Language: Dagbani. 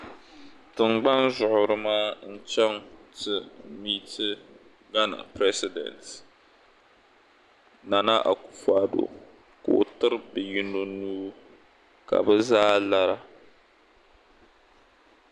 Tingbani zuɣuri maa n chaŋ ti miti gana piresidenti Nana akufu ado ka o tiri bɛ yino nuu ka bɛ zaa lara.